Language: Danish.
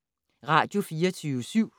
Radio24syv